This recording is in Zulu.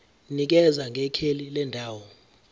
nikeza ngekheli lendawo